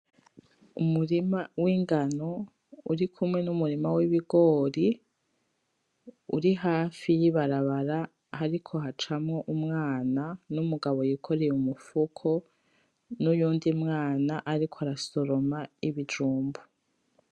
Umurima w'ingano uri kumwe n'umurima w'ibigori uri hafi y'ibarabara hariko hacamwo umwana n'umugabo yikoreye umufuko n'uyundi mwana ariko arasoroma ibijumbu .